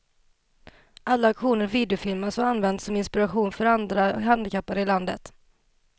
Alla aktioner videofilmas och används som inspiration för andra handikappade i landet.